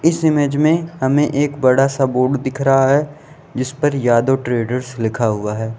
इस इमेज में हमें एक बड़ा सा बोर्ड दिख रहा है जिस पर यादव ट्रेडर्स लिखा हुआ है।